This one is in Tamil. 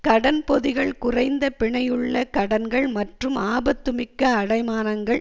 கடன் பொதிகள் குறைந்த பிணையுள்ள கடன்கள் மற்றும் ஆபத்துமிக்க அடைமானங்கள்